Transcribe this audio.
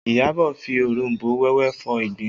Iyabọ̀ fi oronbo wẹ́wẹ́ fọ ìgbín